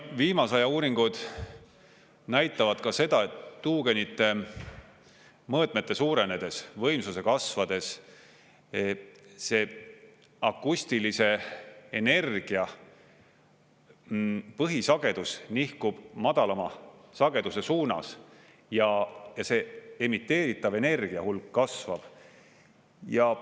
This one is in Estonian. Viimase aja uuringud näitavad ka seda, et tuugenite mõõtmete suurenedes, võimsuse kasvades see akustilise energia põhisagedus nihkub madalama sageduse suunas ja emiteeritav energiahulk kasvab.